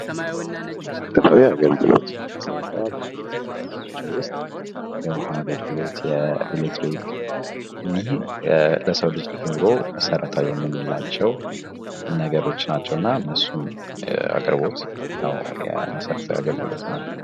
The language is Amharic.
መሰረታዊ አገልግሎት መሰረታዊ አገልግሎት ከምንላቸው ውስጥ የውሀ አገልግሎት፣ የመብራት አገልግሎት እኒህ ለሰው ልጅ ኑሮ መሰረታዊ የምንላቸው ነገሮች ናቸውና እነሱን አቅርቦት ነው መሰረታዊ አገልግሎት የምንላቸው።